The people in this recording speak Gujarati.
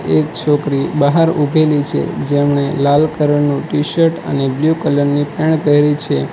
એક છોકરી બહાર ઉભેલી છે જેમણે લાલ કલર નું ટી-શર્ટ અને બ્લુ કલર ની પેન્ટ પહેરી છે.